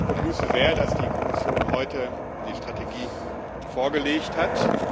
Ich begrüße sehr, dass die Kommission heute die Strategie vorgelegt hat.